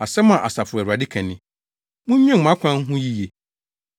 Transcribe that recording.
Asɛm a Asafo Awurade ka ni: “Munnwen mo akwan ho yiye.